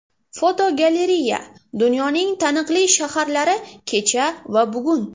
Fotogalereya: Dunyoning taniqli shaharlari kecha va bugun.